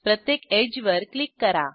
प्रत्येक एड्ज वर क्लिक करा